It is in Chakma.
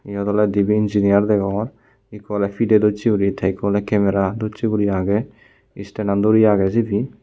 iyot oley dibey engineer degongor ikko oley pidey docche uri te ikko oley kemera docche uri agey stand an dori agey sidu.